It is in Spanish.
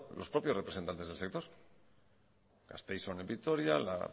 los propios representantes del sector gasteiz on en vitoria la